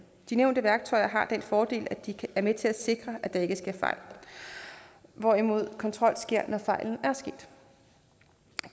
de nævnte værktøjer har den fordel at de er med til at sikre at der ikke sker fejl hvorimod kontrol sker når fejlen